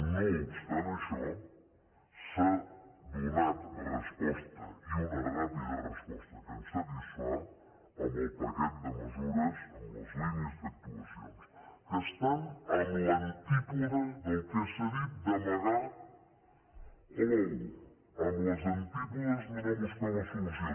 no obstant això s’ha donat resposta i una ràpida resposta que ens satisfà amb el paquet de mesures amb les línies d’actuacions que estan en l’antípoda del que s’ha dit d’amagar l’ou en les antípodes de no buscar la solució